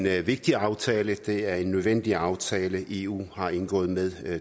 er en vigtig aftale det er en nødvendig aftale eu har indgået med